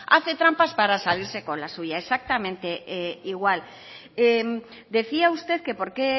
hace trampas para salirse con la suya exactamente igual decía usted que por qué